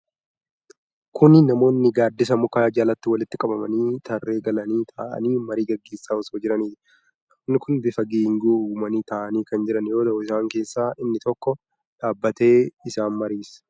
Kuni namoonni gaaddisa mukaa jalatti walitti qabamanii, tarree galanii taa'anii marii gaggeessaa osoo jiraniiti. Namoonni kun bifa geengoo uumanii taa'anii kan jiarn yoo ta'u, isaan keessaa inni tokko dhaabbatee isaan mariisisaa jira.